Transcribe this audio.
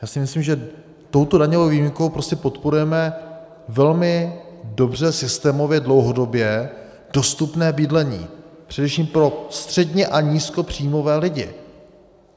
Já si myslím, že touto daňovou výjimkou prostě podporujeme velmi dobře systémově dlouhodobě dostupné bydlení především pro středně- a nízkopříjmové lidi.